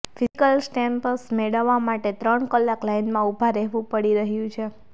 physical stamps મેળવવા માટે ત્રણ કલાક લાઇનમાં ઊભા રહેવું પડી રહ્યું છે